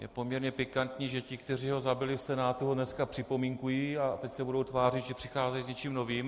Je poměrně pikantní, že ti, kteří ho zabili v Senátu, ho dnes připomínkují a teď se budou tvářit, že přicházejí s něčím novým.